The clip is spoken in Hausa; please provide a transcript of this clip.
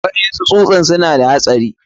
Waɗansu tsusan suna da haɗari.